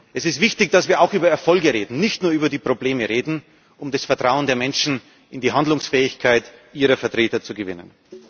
Es ist wichtig, dass wir auch über Erfolge reden, nicht nur über die Probleme, um das Vertrauen der Menschen in die Handlungsfähigkeit ihrer Vertreter zu gewinnen.